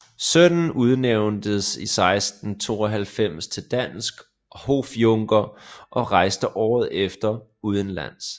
Sønnen udnævntes 1692 til dansk hofjunker og rejste året efter udenlands